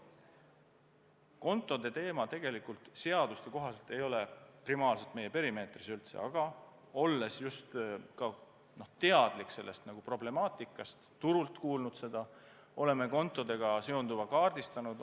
Kontode teema tegelikult seaduste kohaselt ei ole primaarsena meie perimeetris üldse, aga olles teadlik sellest temaatikast, olles nagu turult seda kuulnud, oleme kontodega seonduva kaardistanud.